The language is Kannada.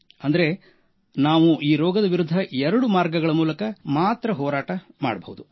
ಅಂದರೆ ನಾವು ಈ ರೋಗದ ವಿರುದ್ಧ ಎರಡು ಮಾರ್ಗಗಳ ಮೂಲಕ ಮಾತ್ರ ಹೋರಾಟ ಮಾಡಬಹುದು